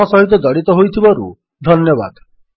ଆମ ସହିତ ଜଡ଼ିତ ହୋଇଥିବାରୁ ଧନ୍ୟବାଦ